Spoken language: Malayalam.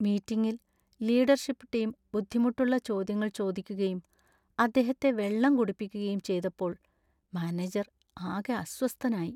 മീറ്റിംഗിൽ ലീഡർഷിപ്പ് ടീം ബുദ്ധിമുട്ടുള്ള ചോദ്യങ്ങൾ ചോദിക്കുകയും അദ്ദേഹത്തെ വെള്ളം കുടിപ്പിക്കുകയും ചെയ്തപ്പോൾ മാനേജർ ആകെ അസ്വസ്ഥനായി.